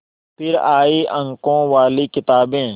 फिर आई अंकों वाली किताबें